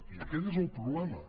i aquest és el problema